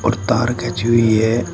और तार खींची हुई है।